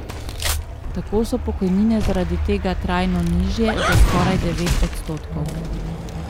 Tako so pokojnine zaradi tega trajno nižje za skoraj devet odstotkov.